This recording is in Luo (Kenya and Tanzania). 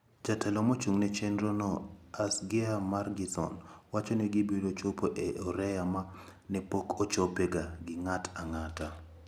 Jatelo mochung`ne chenrono Asgeir Margeisson wacho ni gibiro chopo e oreya ma ne pok ochopega gi ng`ato ang`ata.